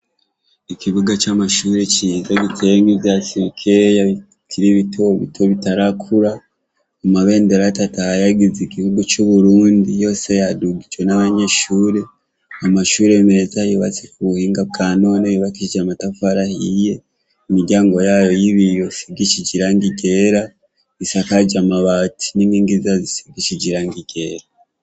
Ikibuga c'amashure ciza, giteyemwo ivyatsi bikeya bikiri bitobito bitarakura, amabendera atatu ahayagiza igihugu c'u Burundi yose yadugijwe n'abanyeshure, amashure meza yubatswe k'ubuhinga bwa none, yubakishije amatafari ahiye imiryango yayo y'ibiyo bisigishije irangi ryera, isakajwe amabati n'inkingi zayo zisize irangi ryera.